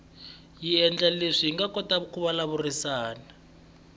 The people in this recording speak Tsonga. yi endla leswaku hi kota ku vulavurisana